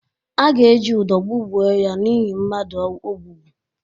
A ga-eji udọ kwụgbuo ya n’ihi mmadụ o gbugbu.